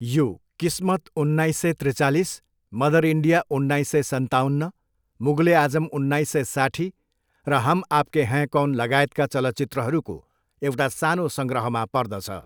यो किस्मत, उन्नाइस सय त्रिचालिस, मदर इन्डिया, उन्नाइस सय सन्ताउन्न, मुगल ए आजम, उन्नाइस सय साट्ठी, र हम आपके है कौन लगायतका चलचित्रहरूको एउटा सानो सङ्ग्रहमा पर्दछ।